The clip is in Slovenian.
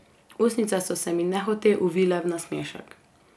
Ustnice so se mi nehote uvile v nasmešek.